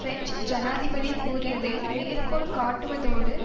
French ஜனாதிபதி கூறியதை மேற்கோள் காட்டுவதோடு